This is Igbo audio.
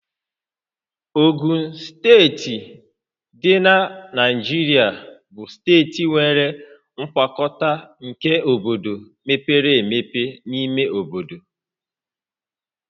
Ogun Steeti dị na Naijiria bụ steeti nwere ngwakọta nke obodo mepere emepe na ime obodo